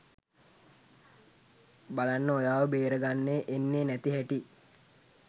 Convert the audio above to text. බලන්න ඔයාව බේරගන්න එන්නේ නැති හැටි.